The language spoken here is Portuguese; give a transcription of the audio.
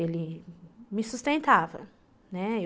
Ele me sustentava, né?